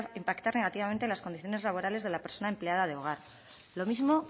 impactar negativamente en las condiciones laborales de la persona empleada de hogar lo mismo